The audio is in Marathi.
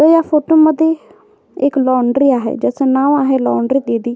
अ या फोटो मध्ये एक लॉंड्री आहे ज्याचं नाव आहे लॉंड्री दीदी.